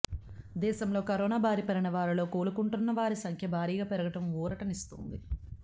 దేశంలో కరోనా బారినపడిన వారిలో కోలుకుంటున్నవరి సంఖ్య భారీగా పెరగడం ఊరటనిస్తోంది